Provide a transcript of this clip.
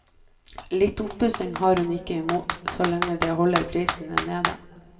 Litt oppussing har hun ikke imot, så lenge den holder prisen nede.